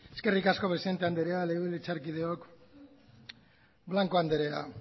eskerrik asko presidente andrea legebiltzarkideok blanco andrea